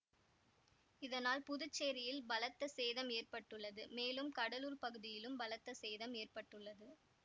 இதனால் புதுச்சேரியில் பலத்த சேதம் ஏற்பட்டுள்ளது மேலும் கடலூர் பகுதியிலும் பலத்த சேதம் ஏற்பட்டுள்ளது